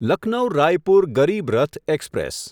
Lucknow Raipur Garib Rath express